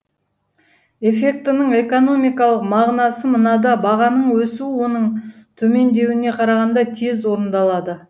эффектінің экономикалық мағынасы мынада бағаның өсуі оның төмендеуіне қарағанда тез орындалады